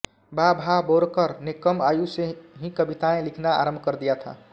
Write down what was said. बा भा बोरकर ने कम आयु से ही कविताएँ लिखना आरम्भ कर दिया था